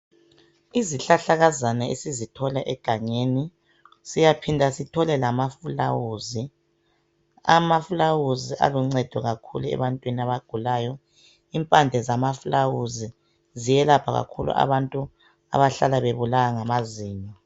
Izihlahlakazana esizithola egangeni siyaphinda sithole lamaluba, amaluba aluncedo kakhulu ebantwini abagulayo impande zamaluba ziyelapha kakhulu abantu abahlala bebulawa ngamazinyo.